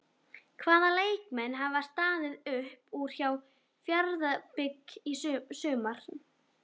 Hvaða leikmenn hafa staðið upp úr hjá Fjarðabyggð í sumar?